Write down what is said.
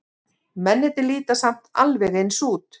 Mennirnir líta samt alveg eins út.